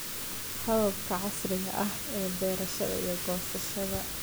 Hababka casriga ah ee beerista iyo goosashada.